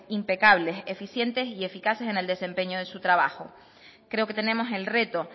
impecables eficientes y eficaces en el desempeño de su trabajo creo que tenemos el reto